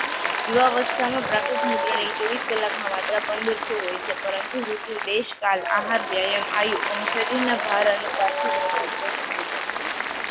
યુવા અવસ્થામાં પ્રાકૃત મૂત્ર ની ચોવીસ કલાક માં માત્ર પંદરસો હોય છે પરંતુ ઋતુ દેશ કાલ આહાર, વ્યાયામ, આયુ અને શરીર ના ભાર અનુસાર થી તેનૉ અસમસ થાય છે.